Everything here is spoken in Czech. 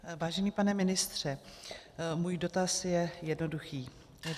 Vážený pane ministře, můj dotaz je jednoduchý.